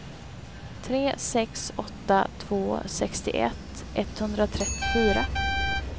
tre sex åtta två sextioett etthundratrettiofyra